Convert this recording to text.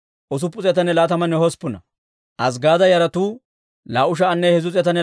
Hizk'k'iyaasa yaraa gideedda As'eera yaratuu 98.